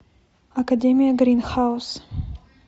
академия гринхаус